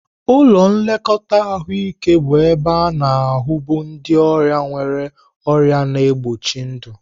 Ụlọ nlekọta ahụike bụ ebe a-na ahu bu ndị ọrịa nwere ọrịa na-egbochi ndụ.